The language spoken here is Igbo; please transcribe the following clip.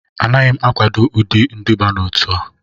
Anaghị m akwado ụdị nduba n'otu a